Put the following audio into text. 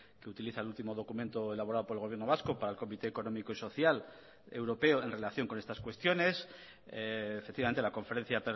que utiliza el último documento elaborado por el gobierno vasco para el comité económico y social europeo en relación con estas cuestiones efectivamente la conferencia